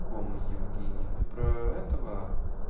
кому евгению ты про этого